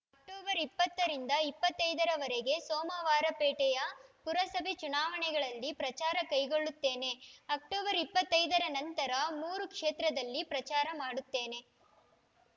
October ಇಪ್ಪತ್ತ ರಿಂದ ಇಪ್ಪತ್ತೈದ ರವರೆಗೆ ಸೋಮವಾರಪೇಟೆಯ ಪುರಸಭೆ ಚುನಾವಣೆಯಲ್ಲಿ ಪ್ರಚಾರ ಕೈಗೊಳ್ಳುತ್ತೇನೆ ಅಕ್ಟೋಬರ್ ಇಪ್ಪತ್ತೈದ ರ ನಂತರ ಮೂರು ಕ್ಷೇತ್ರದಲ್ಲಿ ಪ್ರಚಾರ ಮಾಡುತ್ತೇನೆ